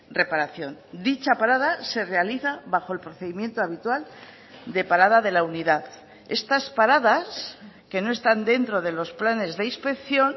reparación dicha parada se realiza bajo el procedimiento habitual de parada de la unidad estas paradas que no están dentro de los planes de inspección